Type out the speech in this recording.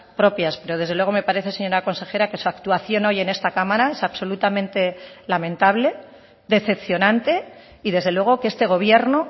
propias pero desde luego me parece señora consejera que su actuación hoy en esta cámara es absolutamente lamentable decepcionante y desde luego que este gobierno